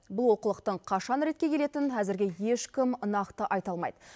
бұл олқылықтың қашан ретке келетінін әзірге ешкім нақты айта алмайды